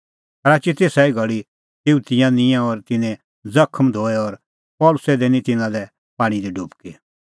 राची तेसा ई घल़ी तेऊ तिंयां निंयैं और तिन्नें ज़खम धोऐ और पल़सी दैनी तिन्नां लै पाणीं दी डुबकी